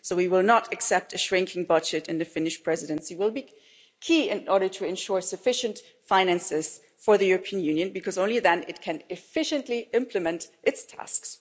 So we will not accept a shrinking budget and the Finnish Presidency will be key in order to ensure sufficient finances for the European Union because only then it can efficiently implement its tasks.